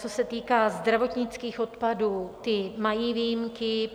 Co se týká zdravotnických odpadů, ty mají výjimky.